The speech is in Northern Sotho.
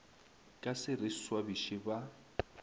ka se re swabiše ba